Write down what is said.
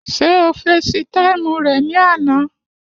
Ṣé o fesi táìmù rẹ̀ ní àná?